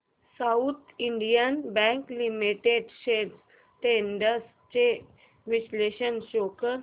south Indian bank limited shares trends चे विश्लेषण show कर